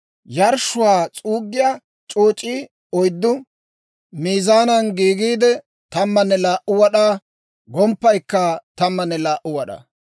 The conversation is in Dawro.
Yarshshuwaa s'uuggiyaa c'ooc'ii oyddu miizaanan gidiide, 12 wad'aa, gomppaykka 12 wad'aa.